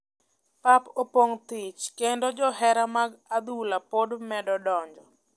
Pap opong thich kendo johera mag adhula pod medo donjo